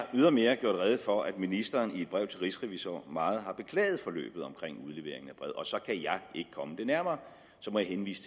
ydermere gjort rede for at ministeren i et brev til rigsrevisor meget har beklaget forløbet omkring udleveringen og så kan jeg ikke komme det nærmere så må jeg henvise